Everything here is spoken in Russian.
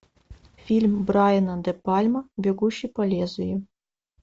фильм брайана де пальма бегущий по лезвию